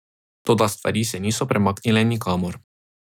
Toda stvari se niso premaknile nikamor.